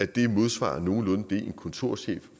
det modsvarer nogenlunde det en kontorchef